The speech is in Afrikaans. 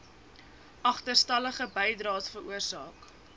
agterstallige bydraes veroorsaak